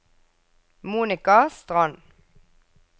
Monica Strand